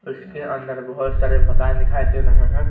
इसके अंदर बहुत सारे मकान दिखाई दे रहे हैं।